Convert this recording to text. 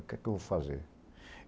O que é que eu vou fazer?